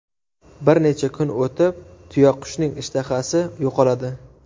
Bir necha kun o‘tib, tuyaqushning ishtahasi yo‘qoladi.